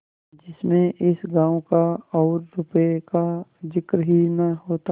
जिसमें इस गॉँव का और रुपये का जिक्र ही न होता